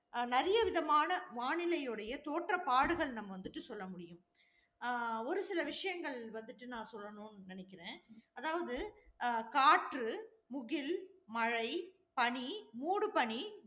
நிறையவிதமான வானிலை உடைய தோற்ற பாடுகள் நம்ம வந்துட்டு சொல்ல முடியும். அஹ் ஒரு சில விஷயங்கள் வந்துட்டு நான் சொல்லணும்னு நினைக்கிறேன். அதாவது, அஹ் காற்று, முகில், மழை, பனி, மூடுபனி